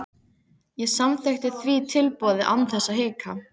Ég samþykkti því tilboðið án þess að hika.